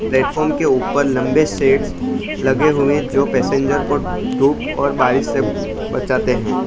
Platform के ऊपर लंबे शेड्स लगे हुए जो पैसेंजर को धूप और बारिश से बचाते हैं।